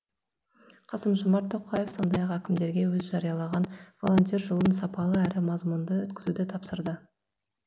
қасым жомарт тоқаев сондай ақ әкімдерге өзі жариялаған волонтер жылын сапалы әрі мазмұнды өткізуді тапсырды